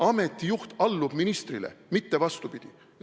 Ameti juht allub ministrile, mitte vastupidi.